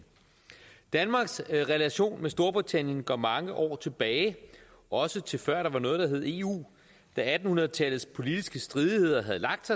danmarks relation til storbritannien går mange år tilbage også til før der var noget der hed eu da atten hundrede tallets politiske stridigheder havde lagt